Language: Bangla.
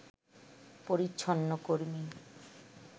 পরিচ্ছন্ন কর্মী